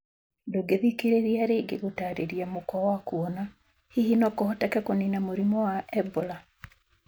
Ndũngĩthikĩrĩria rĩngĩ gũtarĩria mũkwa wa kũona, hihi nokũhoteke kũnina mũrimũ wa Ebola?